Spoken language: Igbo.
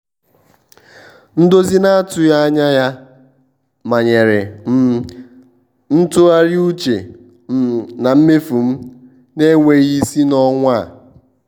um ndozi na-atụghị anya ya manyere um m ịtụgharị uche um na mmefu m na-enweghị isi n'ọnwa a.